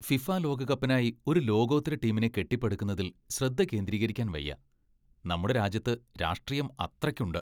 FIFA ലോകകപ്പിനായി ഒരു ലോകോത്തര ടീമിനെ കെട്ടിപ്പടുക്കുന്നതിൽ ശ്രദ്ധ കേന്ദ്രീകരിക്കാൻ വയ്യ. നമ്മുടെ രാജ്യത്ത് രാഷ്ട്രീയം അത്രയ്ക്കുണ്ട്.